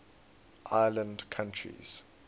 island countries